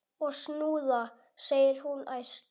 Og snúða! segir hún æst.